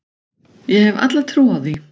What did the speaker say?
Ég hef alla trú á því.